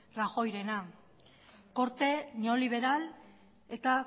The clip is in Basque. rajoyrena korte neoliberal eta